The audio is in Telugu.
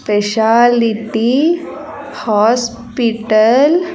Speciality hospital .